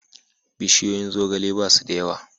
Bishiyoyin zogale ba su da yawa.